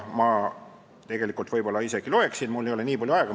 Ma võib-olla isegi loeksin, aga mul ei ole nii palju aega.